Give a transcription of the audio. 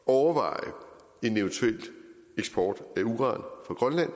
at overveje en eventuel eksport af uran